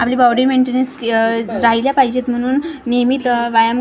आपली body maintenance रहायला पाहिजेत म्हणून नियमित व्यायाम --